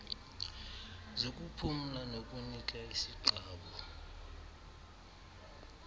zokuphumla nokunika isiqabu